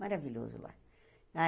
Maravilhoso lá.